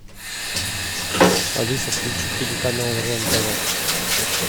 алиса включи телеканал рен тв